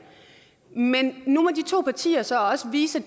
men nu må de to partier så også vise